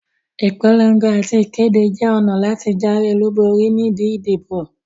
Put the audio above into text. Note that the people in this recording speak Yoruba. Ìpolon̄go àti ìkéde jẹ ọ̀nà láti jáwé olúborí ni ibi ìdìbò